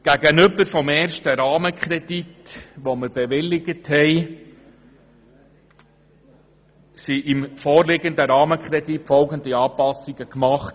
Gegenüber dem ersten Rahmenkredit, den wir bewilligt haben, wurden im vorliegenden Rahmenkredit folgende Anpassungen gemacht: